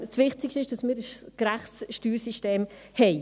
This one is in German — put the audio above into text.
Das Wichtigste ist, dass wir ein gerechtes Steuersystem haben.